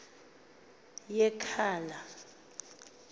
yekhala